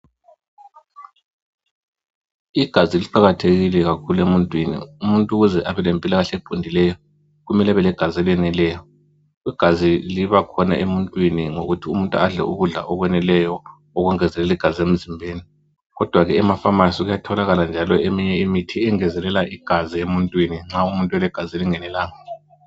Igazi liqakathekile kakhulu emuntwini. Umuntu ukuze abe lempilakahle eliqondileyo kumele abe legazi eleneleyo. Igazi liba khona emuntwini ngokuthi umuntu adle ukudla okwaneleyo okungezelela igazi emzimbeni kodwa ke emafamasi kuyatholakala njalo eminye imithi engezelela igazi emuntwini nxa umuntu elegazi elingenalanga.